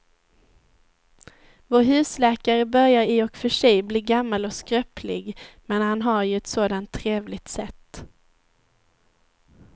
Vår husläkare börjar i och för sig bli gammal och skröplig, men han har ju ett sådant trevligt sätt!